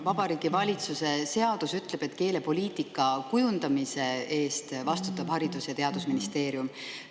Vabariigi Valitsuse seadus ütleb, et keelepoliitika kujundamise eest vastutab Haridus‑ ja Teadusministeerium.